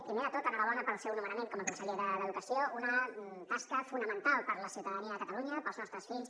primer de tot enhorabona pel seu nomenament com a conseller d’educació una tasca fonamental per la ciutadania de catalunya pels nostres fills